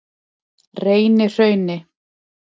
Reynihrauni